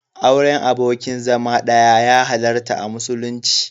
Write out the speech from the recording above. Auren abokin zama ɗaya ya halarta a musulunci.